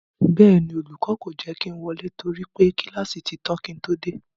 Bẹ́ẹ̀ ni, olùkọ́ kò jẹ́ kí ń wọlé torí pé kíláàsì ti tán kí ń todé,